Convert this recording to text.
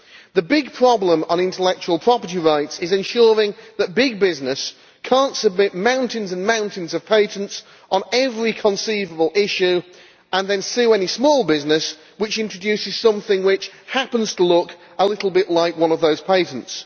The big problem with intellectual property rights is ensuring that big business cannot submit mountains and mountains of patents on every conceivable issue and then sue any small business which introduces something which happens to look a little bit like one of those patents.